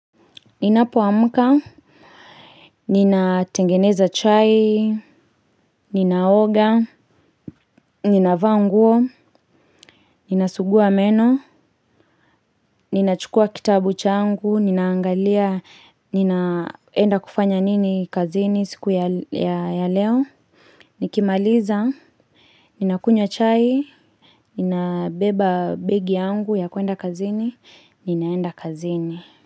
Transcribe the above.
Ninapoamka, ninatengeneza chai, ninaoga, ninavaa nguo, ninasugua meno, ninachukua kitabu changu, ninaangalia, ninaenda kufanya nini kazini siku ya leo. Nikimaliza, ninakunywa chai, ninabeba begi yangu ya kuenda kazini, ninaenda kazini.